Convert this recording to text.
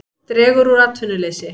Dregur úr atvinnuleysi